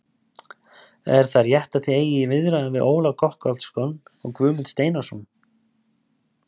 Er það rétt að þið eigið í viðræðum við Ólaf Gottskálksson og Guðmund Steinarsson?